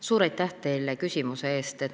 Suur aitäh teile küsimuse eest!